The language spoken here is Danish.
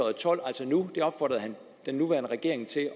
og tolv altså nu det opfordrede han den nuværende regering til